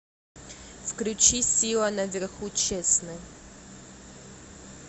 включи сила наверху честный